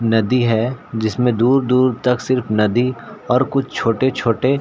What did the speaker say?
नदी है जिसमें दूर-दूर तक सिर्फ नदी और कुछ छोटे-छोटे--